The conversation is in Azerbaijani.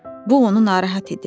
Bu onu narahat edirdi.